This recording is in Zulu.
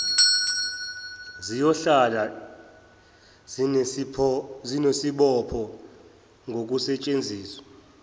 ziyohlale zinesibopho ngokusetshenziswa